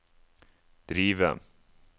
drive